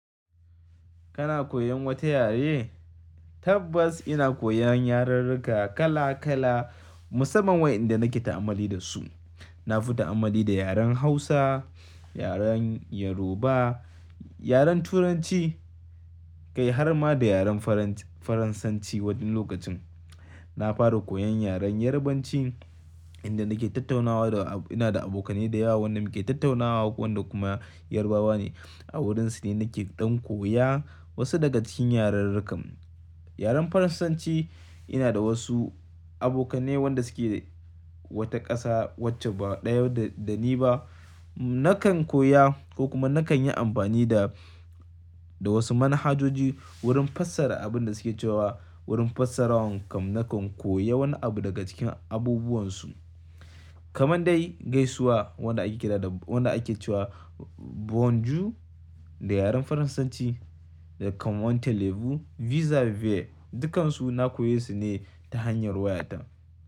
Kana koyon wata yare? Tabbas ina koyan yaren riga kala kala musamman wayanda nake ta'ammali da su. Na fi ta'ammali da yaren Hausa, yaren Yoruba, yaren Turanci, kai har ma da yaren Faransanci. Waɗansu lokacin na fara koyan yaren Yarabanci inda nake tattaunawa da ina da abokane da yawa wanda muke tattaunawa wanda kuma Yarabawa ne a wurinsu ne nake ɗan koya wasu daga cikin yarurruka. Yaren Faransanci ina da wasu abokane wanda suke wata ƙasa wacce ba ɗaya da ni ba. Nakan koya ko kuma nakan yi amfani da, da wasu manhajoji wurin fassara abin da suke cewa wurin fassara wan kan nakan koya wani abu daga cikin abubuwan su. Kaman dai gaisuwa wanda ake kira da wanda ake cewa bonjour da yaren Faransanci da comment allez vous vis a vis dukkansu na koyesu ne ta hanyar wayata.